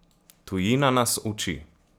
Tujina nas uči!